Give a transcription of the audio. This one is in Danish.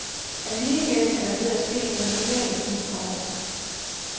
Alligevel er der ved at ske noget mere i disse år.